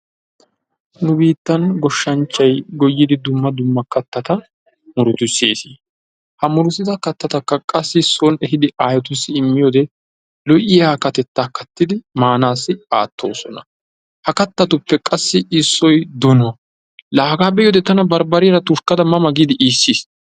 Nu biittan goshshanchay goyiddi dumma dumma kaattata muruttissis. Haa muruttidda kaattattakka qassi sooni ehiddi ayettussi imiyodde lo"oiyaa kaatteta kattiddi maanasi aattosona. Ha kaattatuppe qassi issoy donuwaa, laa hagga be'iyoodde barbariyaara tushkkadda ma ma giidi iisis.